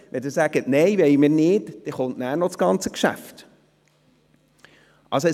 Wenn Sie ihn ablehnen, käme anschliessend noch das ganze Geschäft zur Beratung.